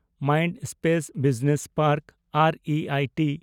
Mindspace business park ᱟᱨ ᱤ I T